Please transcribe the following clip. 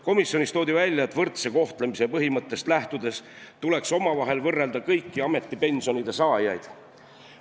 Komisjonis leiti, et võrdse kohtlemise põhimõttest lähtudes tuleks omavahel võrrelda kõiki ametipensionide saajaid.